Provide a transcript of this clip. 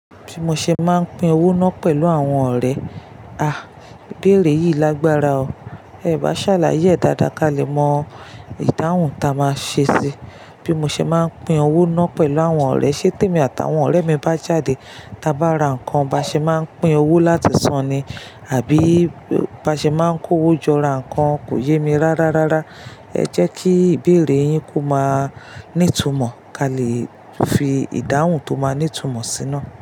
Bí mo ṣe máa ń pín owó náà pẹ̀lú àwọn ọ̀rẹ́, a, ìbéèrè yìí lágbára o, ẹ bá ṣàlàyé dáadáa ká lè mọ ìdáhùn ta máa ṣe sí i. Bí mo ṣe máa ń pín owó náà pẹ̀lú àwọn ọ̀rẹ́ ṣé tèmi àtàwọn ọ̀rẹ́ mi bá jáde ta bá ra nǹkan ba ṣe máa ń pín owó láti san ni àbí bá ṣe máa ń kó owó jọ ra nǹkan kò yé mi rá rárá. Ẹ jẹ́ kí ìbéèrè yín kó máa ní ìtumọ̀ ká lè fi ìdáhùn tó máa ní ìtumọ̀ síná.